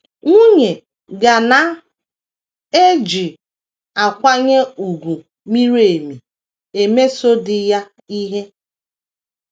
Nwunye ga na - eji “ nkwanye ùgwù miri emi ” emeso di ya ihe.